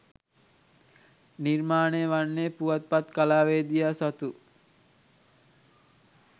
නිර්මාණය වන්නේ පුවත්පත් කලාවේදියා සතු